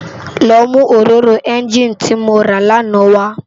Lò mú óróró ènginí ti mó rá làná wá